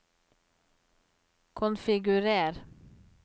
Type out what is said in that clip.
konfigurer